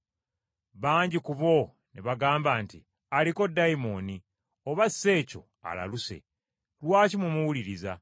Bangi ku bo ne bagamba nti, “Aliko dayimooni oba si kyo alaluse. Lwaki mumuwuliriza?”